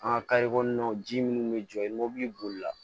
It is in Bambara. An ka kɔnɔnaw ji minnu bɛ jɔ i ni mobili bolila